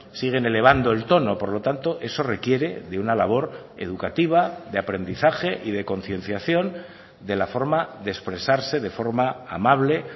siguen elevando el tono por lo tanto eso requiere de una labor educativa de aprendizaje y de concienciación de la forma de expresarse de forma amable